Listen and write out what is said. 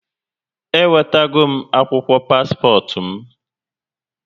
Ewetagom akwụkwọ paspọt m